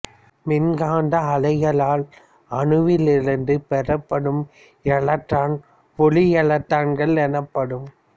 மின்காந்த அலைகளால் அணுவிலிருந்து பெறப்படும் எலக்ட்ரான் ஒளி எலக்ட்ரான்கள் எனப்படும்